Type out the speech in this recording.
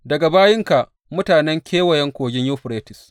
Daga bayinka, mutanen Kewayen Kogin Yuferites.